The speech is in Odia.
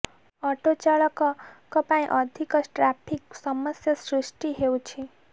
ଅଟୋ ଚାଳକଙ୍କ ପାଇଁ ଅଧିକ ଟ୍ରାଫିକ ସମସ୍ୟା ସୃଷ୍ଟି ହେଉଛି